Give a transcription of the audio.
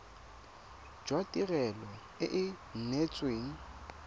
jwa tirelo e e neetsweng